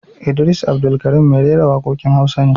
Idris Abdulkarim mai rera waƙoƙin Hausa ne